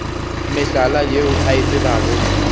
mehlala yeo a e tsebago